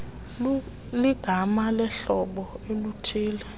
ligama lohlobo oluthille